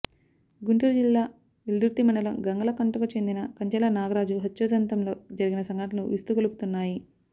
గుంటూరు జిల్లా వెల్దుర్తి మండలం గంగలకుంటకు చెందిన కంచర్ల నాగరాజు హత్యోదంతంలో జరిగిన సంఘటనలు విస్తుగొలుపుతున్నాయి